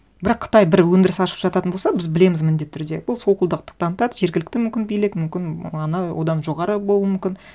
бірақ қытай бір өңдіріс ашып жататын болса біз білеміз міндетті түрде бұл солқылдақтық танытады жергілікті мүмкін билік мүмкін ана одан жоғары болуы мүмкін